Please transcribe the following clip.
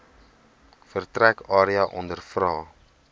vertrek area ondervra